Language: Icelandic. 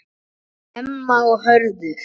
Emma og Hörður.